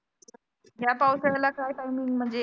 या पावसाळ्याला काय timing म्हणजे